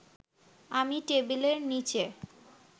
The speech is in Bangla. আমি টেবিলের নিচে